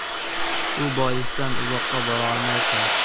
Shu boisdan uzoqqa bora olmayapmiz.